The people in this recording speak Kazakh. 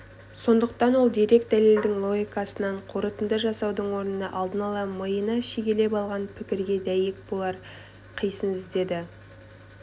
сондықтан ол дерек-дәлелдің логикасынан қорытынды жасаудың орнына алдын ала миына шегелеп алған пікірге дәйек болар қисын іздеді